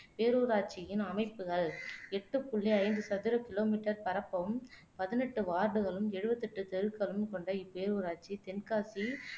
பேரூராட்சியின் அமைப்புகள் எட்டு புள்ளி ஐந்து சதுர கிலோமீட்டர் பரப்பும், பதினெட்டு வார்டுகளும், எழுபத்தி எட்டு தெருக்களும் கொண்ட இப்பேரூராட்சி தென்காசி